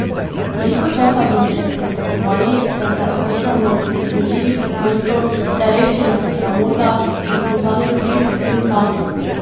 Koliko časa bomo še potrebovali, da se otresemo trdoživih predsodkov, da je revščina sramota in smo zanjo krivi predvsem sami?